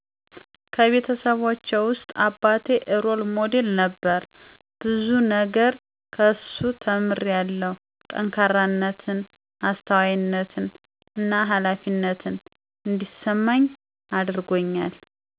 ከቤተሰቦቸውስጥ አባቴ ሮል ሞዴል ነበር ብዙ ነገር ከሱ ተምሪያለው ጠካራነትን አስተዋይነትን እና ሀላፊነት እዲስመኝ አድርጎኛል